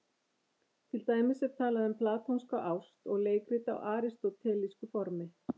Til dæmis er talað um platónska ást og leikrit á aristótelísku formi.